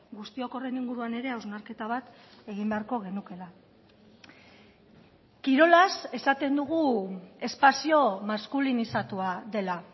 guztiok horren inguruan ere hausnarketa bat egin beharko genukeela kirolaz esaten dugu espazio maskulinizatua dela